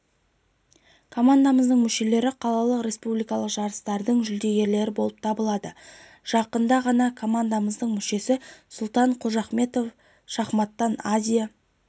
командамыздың мүшелері қалалық республикалық жарыстардың жүлдегерлері болып табылады жақында ғана командамыздың мүшесі сұлтан қожахметов шахматтан азия